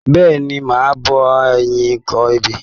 Bẹ́ẹ̀ni, màá bá a yín kọ ebè.